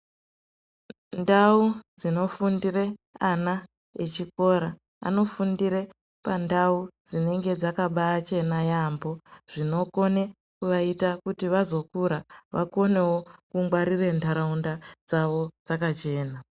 Ndau dzinofundire ana echikora, anofundire pandau dzinenge dzakabaachena yaamho, zvinokone kuvaita vazokura vakonewo kungwarire nharaunda dzavo dzakachena.